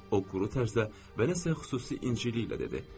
O quru tərzdə və nəsə xüsusi incəliklə dedi.